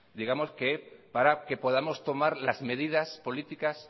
digamos que para que podamos tomar las medidas políticas